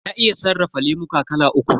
Na iya sarrafa lemuka kala uku.